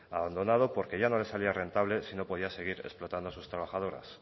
abandonado porque ya no le salía rentable si no podía seguir explotando a sus trabajadoras